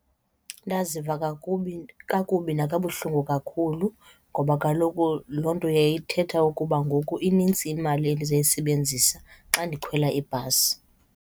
Ndaziva kakubi nakabuhlungu kakhulu ngoba kaloku loo nto yayithetha ukuba ngoku inintsi imali endizayisebenzisa xa ndikhwela ibhasi.